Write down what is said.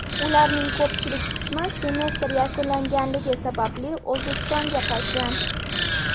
Ularning ko‘pchilik qismi semestr yakunlanganligi sababli O‘zbekistonga qaytgan.